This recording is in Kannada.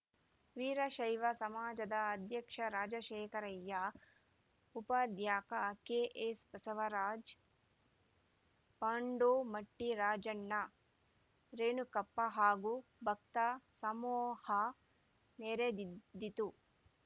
ವೀರಶೈವ ಸಮಾಜದ ಅಧ್ಯಕ್ಷ ರಾಜಶೇಖರಯ್ಯ ಉಪಾಧ್ಯಕ ಕೆಎಸ್‌ಬಸವರಾಜ್‌ ಪಾಂಡೋಮಟ್ಟಿರಾಜಣ್ಣ ರೇಣುಕಪ್ಪ ಹಾಗೂ ಭಕ್ತ ಸಮೂಹ ನೆರೆದ್ದಿತ್ತು